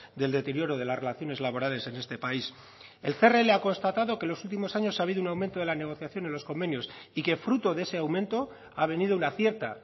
del deterioro de las relaciones laborales en este país el crl ha constatado que los últimos años ha habido un aumento de la negociación en los convenios y que fruto de ese aumento ha venido una cierta